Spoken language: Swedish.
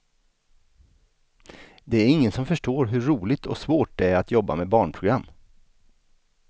Det är ingen som förstår hur roligt och svårt det är att jobba med barnprogram.